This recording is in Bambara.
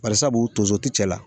Bari sabu tonso ti cɛla la.